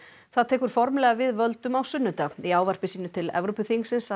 það tekur formlega við völdum á sunnudag í ávarpi sínu til Evrópuþingsins sagði